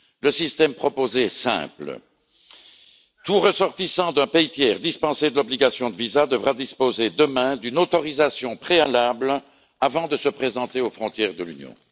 Le système proposé est simple tout ressortissant d'un pays tiers, dispensé de l'obligation de visa, devra disposer demain d'une autorisation préalable avant de se présenter aux frontières de l'Union.